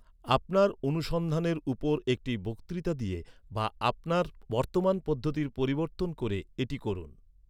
আপনার অনুসন্ধানের উপর একটি বক্তৃতা দিয়ে বা আপনার বর্তমান পদ্ধতির পরিবর্তন করে এটি করুন।